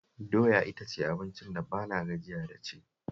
Doya ita ce abincin da ba na gajiya da ci